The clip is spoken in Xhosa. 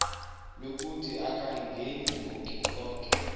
lokuthi akayingeni konke